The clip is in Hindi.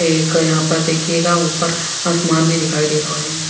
एक यहाँ पर देखिएगा ऊपर आसमान भी दिखाई देरो है।